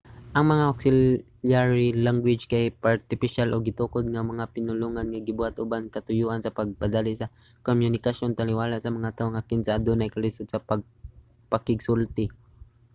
ang mga auxiliary language kay artipisyal o gitukod nga mga pinulongan nga gibuhat uban ang katuyoan sa pagpadali sa komunikasyon taliwala sa mga tawo nga kinsa adunay kalisud sa pagpakigsulti